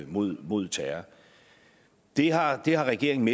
mod mod terror det har det har regeringen